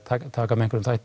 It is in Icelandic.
taka